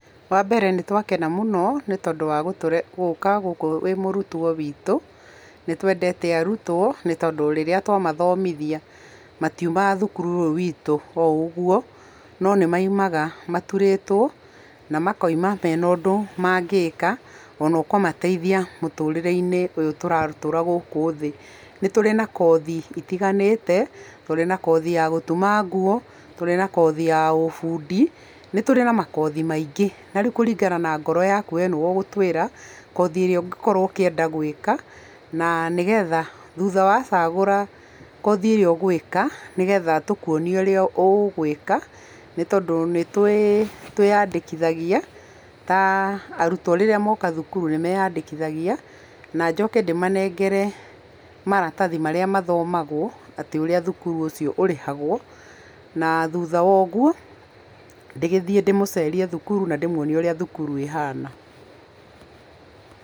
Wa mbere nĩ twakena mũno nĩ tondũ wa gũka gũkũ wĩ mũrutwo wĩtũ. Nĩ twendete arutwo tondũ rĩrĩa twamathomithia matiumaga thukuru ũyũ wĩtũ o ũguo, no nĩ maumaga maturĩtwo na makauma mena ũndũ mangĩka ona ũkũmateithia mũtũrĩre-inĩ ũyũ tũratũra gũkũ thĩ. Nĩ tũrĩ na kothi itiganĩte, nĩ tũrĩ na kothi ya gũtuma nguo, nĩ tũrĩ na kothi ya ũ bundi, nĩ tũrĩ na makothi maingĩ. Na rĩu kũringana na ngoro yaku we nĩwe ũgũtwĩra kothi ĩrĩa ũngĩkorwo ũkĩenda gwĩka na nĩgetha thutha wacagũra kothi ĩrĩa ũgwĩka nĩgetha tũkuonie ũrĩa ũgwĩka nĩ tondũ nĩ twĩyandĩkithagia, ta arutwo rĩrĩa moka thukuru nĩ meyandĩkithagia na njoke ndĩmanengere maratathi marĩa mathomagwo, atĩ ũrĩa thukuru ũcio ũrĩhagwo. Na thutha ndĩgĩthiĩ ndĩmũcerie thukuru na ndĩmuonie ũrĩa thukuru ĩhana.